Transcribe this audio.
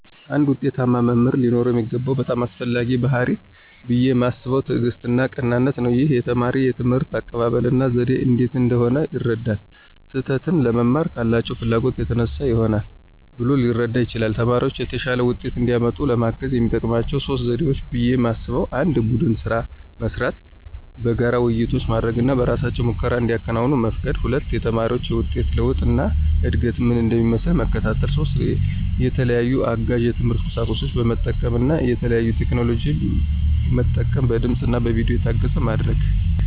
አንድ ዉጤታማ መምህር ሊኖረው የሚገባው በጣም አስፈላጊው ባሕርይ ብየ ማስበው ትዕግስትና ቀናነት ነው። ይህም የተማሪ የትምህርት አቀባበል እና ዘዴ እንዴት እንደሆነ ይረዳል። ስህተትን ለመማር ካላቸው ፍላጎት የተነሳ ይሆናል ብሎ ሊረዳ ይችላል። ተማሪዎች የተሻለ ውጤት እንዲያመጡ ለማገዝ የሚጠቀሙባቸው 3 ዘዴዎች ብየ ማስበው 1=የቡድን ስራዎች መስራት፣ በጋራ ውይይቶች ማድረግ እና በእራሳቸው ሙከራዎችን እንዲያከናውኑ መፍቀድ 2=የተማሪዎችን የውጤት ለውጥ እና እድገት ምን እንደሚመስል መከታተል። 3=የተለያዩ አጋዥ የትምህርት ቁሳቁሶችን በመጠቀም እና የተለያዩ ቴክኖሎጂን መጠቀም በድምፅ እና በቪዲዮ የታገዘ ማድረግ።